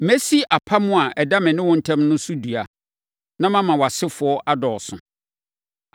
Mɛsi apam a ɛda me ne wo ntam no so dua, na mama wʼasefoɔ adɔɔso.”